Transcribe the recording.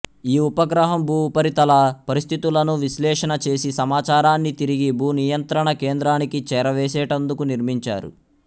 ఈ ఉపగ్రహం భూఉపరితల పరిస్థితులను విశ్లేషణ చేసి సమాచారాన్ని తిరిగి భూ నియంత్రణ కేంద్రానికి చేరవేసెటందుకు నిర్మించారు